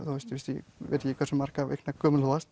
ég veit ekki hversu margra vikna gömul þú varst